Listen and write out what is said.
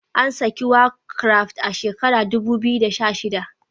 An saki war craft a shekarar dubu biyu da sha shida